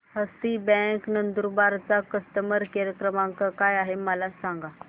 हस्ती bank Nandurbar चा customer care क्रमांक काय आहे हे मला सांगा